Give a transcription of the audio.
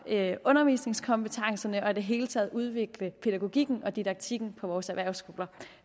undervisningskompetencerne og i det hele taget udvikle pædagogikken og didaktikken på vores erhvervsskoler